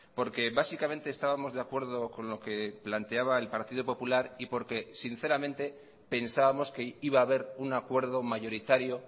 porque básicamente estábamos de acuerdo con lo que planteaba el partido popular y porque sinceramente pensábamos que iba a haber un acuerdo mayoritario